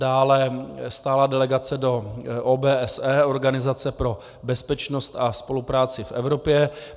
Dále - stálá delegace do OBSE, Organizace pro bezpečnost a spolupráci v Evropě.